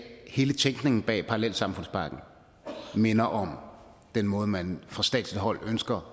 hele tænkningen bag parallelsamfundspakken minder om den måde man fra statsligt hold ønsker